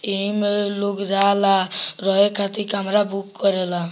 एमें लोग जाला रहे खातिर कमरा बुक करेला।